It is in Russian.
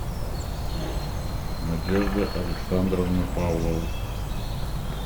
надежда александровна павлова